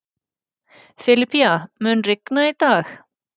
Filipía, mun rigna í dag?